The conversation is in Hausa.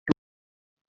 yau lahadi Muna coci